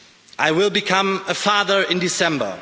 I will become a father in December.